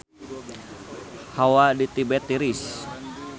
Hawa di Tibet tiris